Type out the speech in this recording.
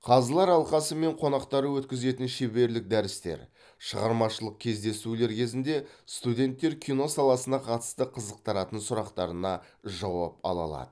қазылар алқасы мен қонақтары өткізетін шеберлік дәрістер шығармашылық кездесулер кезінде студенттер кино саласына қатысты қызықтыратын сұрақтарына жауап ала алады